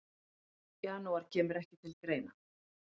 Janúar kemur ekki til greina.